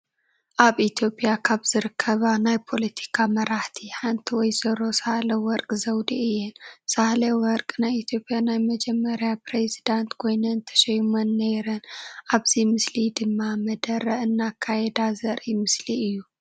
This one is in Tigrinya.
አብ ኢትዮጲያ ካብ ዝርከባ ናይ ፖሎቲካ መራሕቲ ሓንቲ ወይዘሮ ሳሀለ ወረቅ ዘወዴ እየን። ሳህለ ወርቅ ናይ ኢትዮጲያ ናይ መጀመሪያ ፕሪዚዳንት ኮይነን ተሽሞን ነይረን። አብዚ ምስሊ ድማ መደረ እናካየዳ ዘሪኢ ምስሊ እዩ።